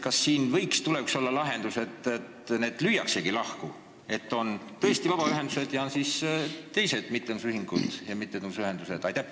Kas tulevikus võiks olla lahendus see, kui need lüüaksegi lahku, nii et on tõesti vabaühendused ning teised mittetulundusühingud ja mittetulundusühendused?